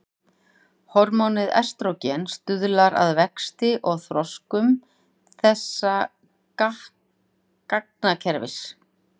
Hormónið estrógen stuðlar að vexti og þroskun þessa gangakerfis.